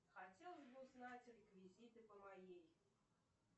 хотелось бы узнать реквизиты по моей